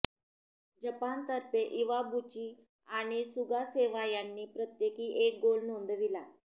जपानतर्फे Iwabuchi आणि Sugasawa यांनी प्रत्येकी एक गोल नोंदविला